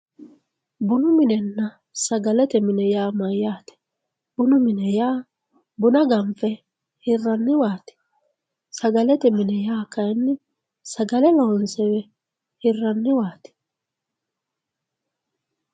bunu minenna sagalete mine yaa mayyaate bunu mine yaa buna ganfe hirranniwaati sagalete mine yaa kayinni sagale loonse hirrranniwaati